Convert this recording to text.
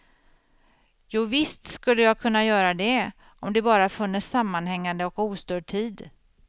Jovisst skulle jag kunna göra det, om det bara funnes sammanhängande och ostörd tid.